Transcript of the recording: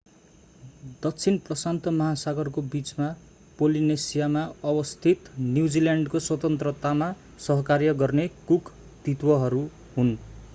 दक्षिण प्रशान्त महासागरको बिचमा पोलिनेसियामा अवस्थित न्यूजील्यान्डको स्वतन्त्रतामा सहकार्य गर्ने कुक द्वितहरू हुन्‌।